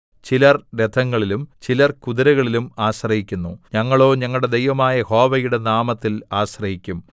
ചിലർ രഥങ്ങളിലും ചിലർ കുതിരകളിലും ആശ്രയിക്കുന്നു ഞങ്ങളോ ഞങ്ങളുടെ ദൈവമായ യഹോവയുടെ നാമത്തിൽ ആശ്രയിക്കും